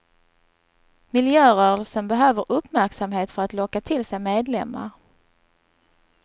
Miljörörelsen behöver uppmärksamhet för att locka till sig medlemmar.